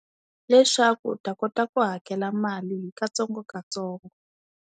Leswaku u ta kota ku hakela mali hi katsongokatsongo.